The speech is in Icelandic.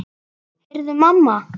Heyrðu mamma!